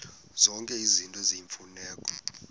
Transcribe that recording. zonke izinto eziyimfuneko